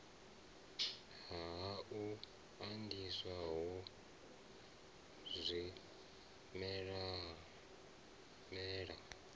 ha u andiswa ho zwimela